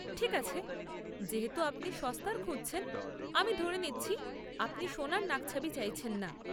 ঠিক আছে, যেহেতু আপনি সস্তার খুঁজছেন, আমি ধরে নিচ্ছি আপনি সোনার নাকছাবি চাইছেন না।